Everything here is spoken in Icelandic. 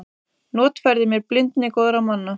Notfærði mér blindni góðra manna.